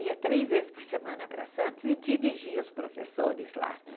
Ia três vezes por semana para Santos e dirigia os professores lá. Né?